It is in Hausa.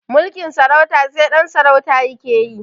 Mulkin sarauta sai ɗan sarauta yake yi